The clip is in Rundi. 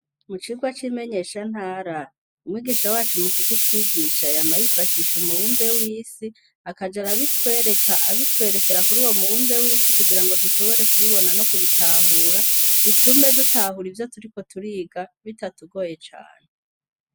Mu cigwa c'imenyeshantara, umwigisha wacu mukukitwigisha yama yifashisha umubumbe w'isi akaja arabitwereka abitwerekera kuri uwo mubumbe w'isi kugira ngo dushobore kubibona no kubitahura, bitume dutahura ivyo turiko turiga, bitatugoye cane.